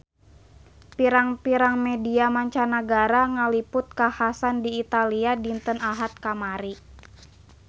Pirang-pirang media mancanagara ngaliput kakhasan di Italia dinten Ahad kamari